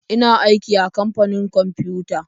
Ina aiki a kamfanin kwamfiyuta.